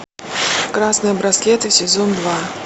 красные браслеты сезон два